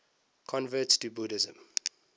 converts to buddhism